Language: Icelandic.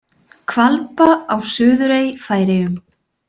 Hvalba á Suðurey, Færeyjum.